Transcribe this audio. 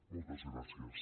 moltes gràcies